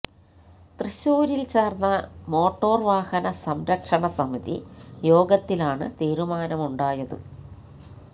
തൃശൂരില് ചേര്ന്ന മോട്ടോര് വാഹന സംരക്ഷണ സമിതി യോഗത്തിലാണ് തീരുമാനമുണ്ടായത്